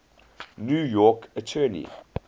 new york attorney